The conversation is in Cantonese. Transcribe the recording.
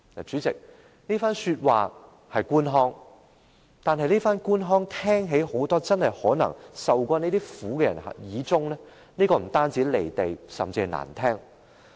主席，這番說話是官腔，而這種官腔聽在很多曾受這種苦的人耳裏，不但感覺很"離地"，而且相當難聽。